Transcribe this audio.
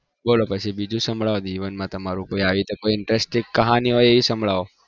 બોલું બીજું સાંભળવો જીવનમાં તમારું કઈ interest કહાની હોય તો એ સંભળાવો